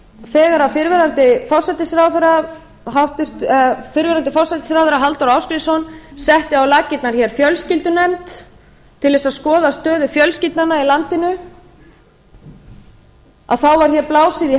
þegar fyrrverandi forsætisráðherra halldór ásgrímsson setti á laggirnar hér fjölskyldunefnd til þess að skoða stöðu fjölskyldnanna í landinu að þá var hér